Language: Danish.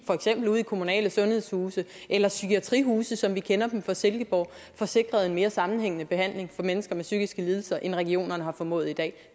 for eksempel i kommunale sundhedshuse eller psykiatrihuse som vi kender dem fra silkeborg får sikret en mere sammenhængende behandling for mennesker med psykiske lidelser end regionerne har formået i dag